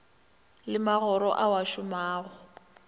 le magora ao a šomago